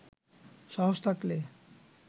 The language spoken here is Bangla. সাহস থাকলে